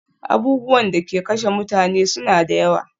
Abubuwan da ke kashe mutane suna da yawa